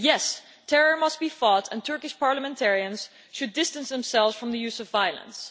Yes, terror must be fought and Turkish parliamentarians should distance themselves from the use of violence.